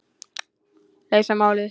Leysa málið.